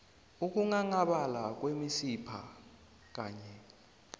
ukunghanghabala kwemisipha kanye